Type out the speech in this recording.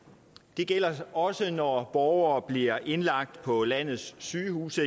det gælder også når borgere eksempelvis bliver indlagt på landets sygehuse